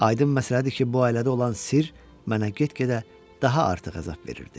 Aydın məsələdir ki, bu ailədə olan sirr mənə get-gedə daha artıq əzab verirdi.